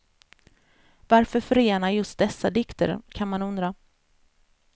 Varför förena just dessa dikter kan man undra.